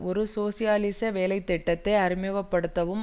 ஒரு சோசியலிச வேலை திட்டத்தை அறிமுகப்படுத்தவும்